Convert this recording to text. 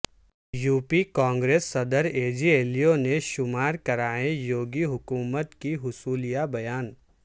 you P Congress صدر اجے للو نے شمار کرائیں یوگی حکومت کی حصولیابیاں